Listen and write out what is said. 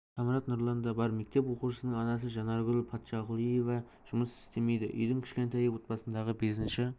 самрат нұрлан да бар мектеп оқушысының анасы жанаргүл патшақұлиева жұмыс істемейді үйдің кішкентайы отбасындағы бесінші